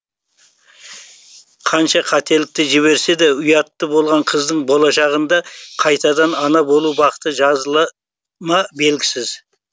қанша қателікті жіберсе де ұятты болған қыздың болашағында қайтадан ана болу бақыты жазыла ма белгісіз